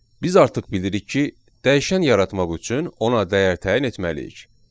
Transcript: Biz artıq bilirik ki, dəyişən yaratmaq üçün ona dəyər təyin etməliyik.